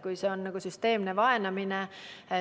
Kui see on süsteemne vaenamine,